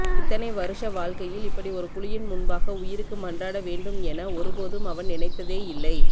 இத்தனை வருஷ வாழ்க்கையில் இப்படி ஒரு புலியின் முன்பாக உயிருக்கு மன்றாட வேண்டும் என ஒருபோதும் அவன் நினைத்தேயில்லை